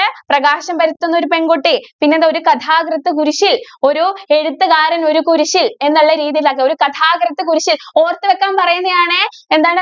പ്രകാശം പരത്തുന്ന ഒരു പെണ്‍കുട്ടി, പിന്നെന്താ ഒരു കഥാകൃത്ത്‌ കുരിശ്ശില്‍, ഒരു എഴുത്തുകാരന്‍ ഒരു കുരിശ്ശില്‍ എന്നുള്ള രീതിയിലാക്കുക. ഒരു കഥാകൃത്ത്‌ കുരിശ്ശില്‍ ഓര്‍ത്തു വക്കാന്‍ പറയുന്നയാണേ. എന്താണ്